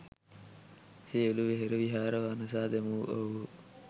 සියලු වෙහෙර විහාර වනසා දැමූ ඔවුහු